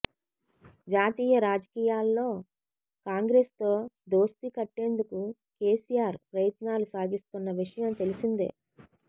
జాతీయ రాజకీయాల్లో కాంగ్రెసుతో దోస్తీ కట్టేందుకు కేసీఆర్ ప్రయత్నాలు సాగిస్తున్న విషయం తెలిసిందే